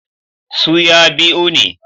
Su ya biu ne